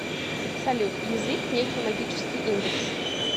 салют язык некий магический индекс